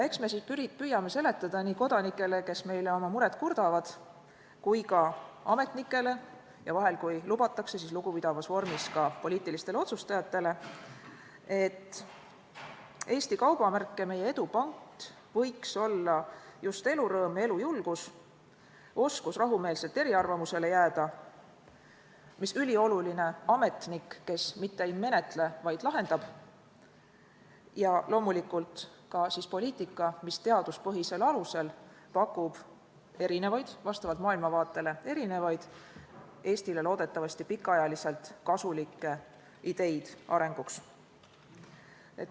Eks me siis püüame seletada nii kodanikele, kes meile oma muret kurdavad, kui ka ametnikele ja vahel, kui lubatakse, siis lugupidavas vormis ka poliitilistele otsustajatele, et Eesti kaubamärk ja meie edu pant võiks olla just elurõõm ja elujulgus, oskus rahumeelselt eriarvamusele jääda ja üliolulisena ametnik, kes mitte ei menetle, vaid lahendab, ja loomulikult ka poliitika, mis teaduspõhisel alusel pakub vastavalt maailmavaatele erinevaid, Eestile loodetavasti pikaajaliselt kasulikke ideid arenguks.